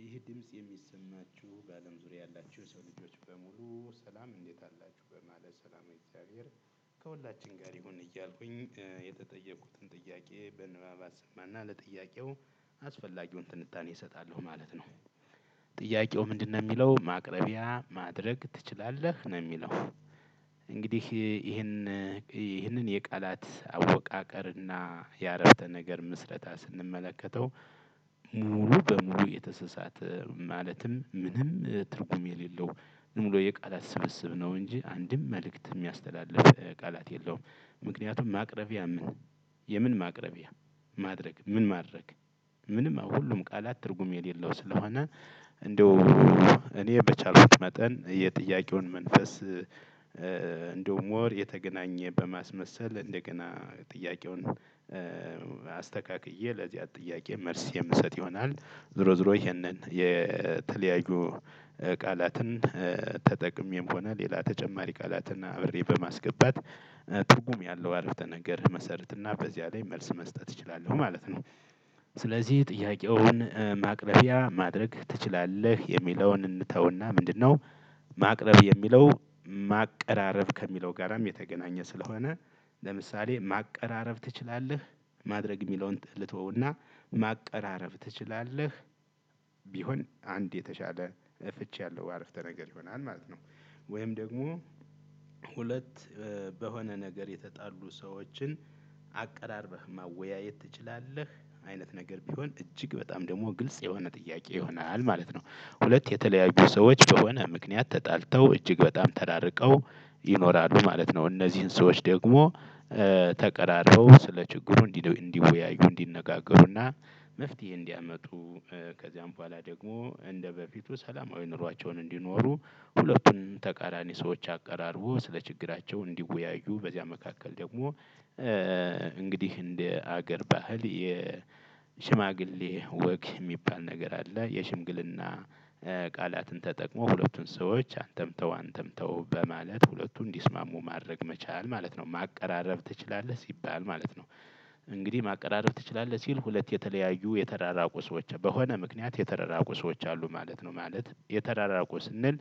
ይህ ድምጽ የሚሰማችሁ በአለም ዙሪያ ያላችሁ የሰው ልጆች በሙሉ ሰላም እንዴት አላችሁ በማለት ሰላመ እግዚአብሔር ከሁላችን ጋር ይሁን እያልኩኝ የተጠየኩትን ጥያቄ በንባብ አሰማና ለጥያቄው አስፈላጊውን ትንታኔ እሰጣለሁ ማለት ነው። ጥያቄው ምንድነው የሚለው ማቅረቢያ ማድረግ ትችላለህ? ነው የሚለው። እንግዲህ ይሄን ይሄንን የቃላት አወቃቀርና የአረፍተ ነገር ምስረታ ስንመለከተው። ሙሉ በሙሉ የተሰሳተ ማለትም ምንም ትርጉም የሌለው ሙሉ የቃላት ስብስብ ነው እንጂ አንድም መልእክት የሚያስተላልፍ ቃላት የለውም። ምክንያቱም ማቅረቢያ ምን የምን ማቅረቢያ ማድረግ ምን ማድረግ? ምንም ሁሉም ቃላት ትርጉም የሌለው ስለሆነ እንደው እኔ በቻልኩት መጠን የጥያቄውን መንፈስ። እንደው ሞር የተገናኘ በማስመሰል እንደገና ጥያቄውን አስተካክዬ ለዚያ ጥያቄ መልስ የምሰጥ ይሆናል። ዝሮ ዝሮ ይሄንን የተለያዩ ቃላትን ተጠቅሜም ሆነ ሌላ ተጨማሪ ቃላትን አብሬ በማስገባት ትርጉም ያለው አረፍተ ነገር እመሰርትና በዚያ ላይ መልስ መስጠት እችላለሁ ማለት ነው። ስለዚህ ጥያቄውን ማቅረቢያ ማድረግ ትችላለህ? የሚለውን እንተውና ምንድነው? ማቅረብ የሚለው ማቀራረብ ከሚለው ጋራም የተገናኘ ስለሆነ። ለምሳሌ ማቀራረብ ትችላለህ? ማድረግ የሚለውን ልተውና ማቀራረብ ትችላለህ? ቢሆን አንድ የተሻለ ፍቺ ያለው አረፍተ ነገር ይሆናል ማለት ነው። ወይም ደግሞ ሁለት በሆነ ነገር የተጣሉ ሰዎችን አቀራርበህ ማወያየት ትችላለህ? አይነት ነገር ቢሆን እጅግ በጣም ደግሞ ግልጽ የሆነ ጥያቄ ይሆናል ማለት ነው። ሁለት የተለያዩ ሰዎች በሆነ ምክንያት ተጣልተው እጅግ በጣም ተራርቀው ይኖራሉ ማለት ነው። እነዚህን ሰዎች ደግሞ ተቀራርበው ስለ ችግሩ እንዲወያዩ እንዲነጋገሩና መፍትሄ እንዲያመጡ ከዚያም በኋላ ደግሞ እንደበፊቱ ሰላማዊ ኑሯቸውን እንዲኖሩ። ሁለቱን ተቃራኒ ሰዎች አቀራርቦ ስለ ችግራቸው እንዲወያዩ በዚያ መካከል ደግሞ እንግዲህ እንደ አገር ባህል ሽማግሌ ወግ የሚባል ነገር አለ የሽምግልና ቃላትን ተጠቅሞ ሁለቱን ሰዎች አንተም ተው አንተም ተው በማለት ሁለቱ እንዲስማሙ ማድረግ መቻል ማለት ነው ማቀራረብ ትችላለህ ሲባል ማለት ነው። እንግዲህ ማቀራረብ ትችላለህ ሲል ሁለት የተለያዩ የተራራቁ ሰዎች በሆነ ምክንያት የተረራቁ ሰዎች አሉ ማለት ነው ማለት የተራራቁ ስንል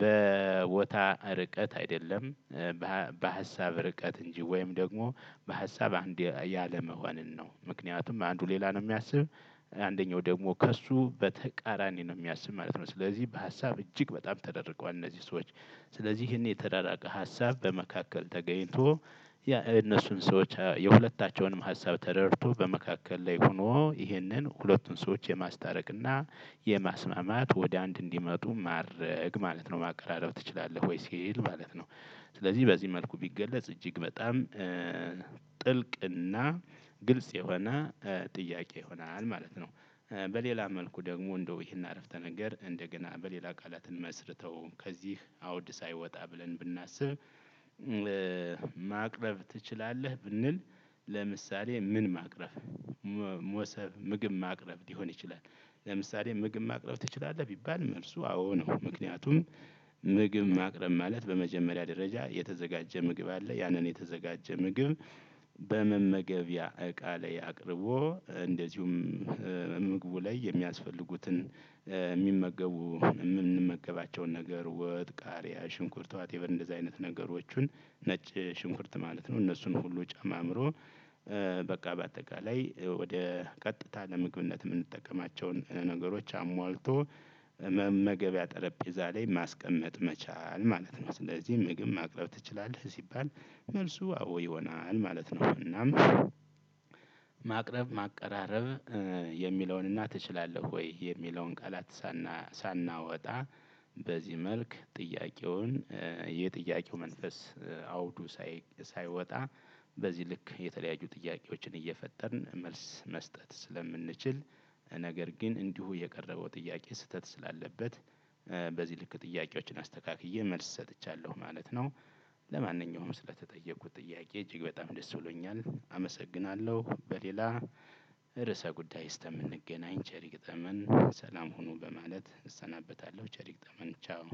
በቦታ ርቀት አይደለም። በሀሳብ ርቀት እንጂ ወይም ደግሞ በሀሳብ አንድ ያለመሆንን ነው ምክንያቱም አንዱ ሌላ ነው የሚያስብ አንደኛው ደግሞ ከእሱ በተቃራኒ ነው የሚያስብ ማለት ነው። ስለዚህ በሀሳብ እጅግ በጣም ተራርቀዋል እነዚህ ሰዎች። ስለዚህ ይሄን የተራራቀ ሀሳብ በመካከል ተገኝቶ የእነሱን ሰዎች የሁለታቸውንም ሀሳብ ተረድቶ በመካከል ላይ ሆኖ ይህንን ሁለቱን ሰዎች የማስታረቅ እና የማስማማት ወደ አንድ እንዲመጡ ማድረግ ማለት ነው ማቀራረብ ትችላለህ ወይ ሲል ማለት ነው? ስለዚህ በዚህ መልኩ ቢገለጽ እጅግ በጣም ጥልቅና ግልጽ የሆነ ጥያቄ ይሆናል ማለት ነው። በሌላ መልኩ ደግሞ እንደው ይሄን አረፍተ ነገር እንደገና በሌላ ቃላትን መስርተው ከዚህ አውድ ሳይወጣ ብለን ብናስብ። ማቅረብ ትችላለህ ብንል። ለምሳሌ ምን ማቅረብ? ሞሰብ ምግብ ማቅረብ ሊሆን ይችላል። ለምሳሌ ምግብ ማቅረብ ትችላለህ? ቢባል መልሱ አዎ ነው ምክንያቱም። ምግብ ማቅረብ ማለት በመጀመሪያ ደረጃ የተዘጋጀ ምግብ አለ ያንን የተዘጋጀ ምግብ። በመመገቢያ እቃ ላይ አቅርቦ እንደዚሁም ምግቡ ላይ የሚያስፈልጉትን የሚመገቡ የምንመገባቸውን ነገር ወጥ ቃሪያ ሽንኩርት ዋቴቨር እንደዚህ አይነት ነገሮቹን ነጭ ሽንኩርት ማለት ነው እነሱን ሁሉ ጨማምሮ በቃ በአጠቃላይ ወደ ቀጥታ ለምግብነት የምንጠቀማቸውን ነገሮች አሟልቶ። መመገቢያ ጠረጴዛ ላይ ማስቀመጥ መቻል ማለት ነው። ስለዚህ ምግብ ማቅረብ ትችላለህ? ሲባል መልሱ አዎ ይሆናል ማለት ነው። እናም ማቅረብ ማቀራረብ የሚለውንና ትችላለህ ወይ የሚለውን ቃላት ሳናወጣ በዚህ መልክ ጥያቄውን የጥያቄው መንፈስ አውዱ ሳይወጣ በዚህ ልክ የተለያዩ ጥያቄዎችን እየፈጠርን መልስ መስጠት ስለምንችል። ነገር ግን እንዲሁ የቀረበው ጥያቄ ስህተት ስላለበት። በዚህ ልክ ጥያቄዎችን አስተካክዬ መልስ ሰጥቻለሁ ማለት ነው። ለማንኛውም ስለተጠየቁት ጥያቄ እጅግ በጣም ደስ ብሎኛል አመሰግናለሁ። በሌላ ርዕሰ ጉዳይ እስከምንገናኝ ቸር ይግጠመን ሰላም ሁኑ በማለት እሰናበታለሁ ቸር ይግጠመን ቻው።